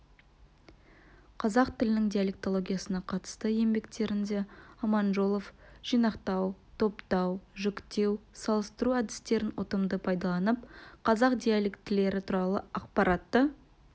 қазақ тілінің диалетологиясына қатысты еңбектерінде аманжолов жинақтау топтау жіктеу салыстыру әдістерін ұтымды пайдаланып қазақ диалектілері туралы ақпаратты